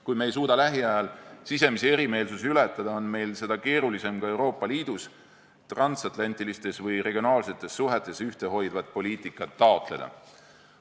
Kui me ei suuda lähiajal sisemisi erimeelsusi ületada, on meil seda keerulisem ka Euroopa Liidus, transatlantilistes või regionaalsetes suhetes ühtehoidvat poliitikat taotleda.